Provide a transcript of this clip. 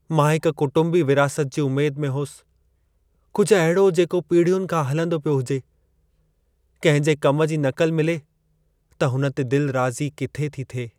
मां हिकु कुटुंबी विरासत जी उमेद में होसि, कुझु अहिड़ो जेको पीढ़ियुनि खां हलंदो पियो हुजे। किंहिं जे कम जी नक़ल मिले त हुन ते दिलि राज़ी किथे थी थिए!